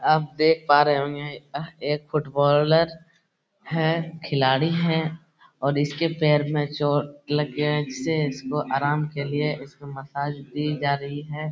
आप देख पा रहे होंगे यह एक फुटबॉलर है खिलाड़ी हैं और इसके पैर में चोट लग गए हैं इससे इसको आराम के लिए इसको मसाज दी जा रही है ।